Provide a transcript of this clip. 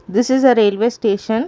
this is a railway station.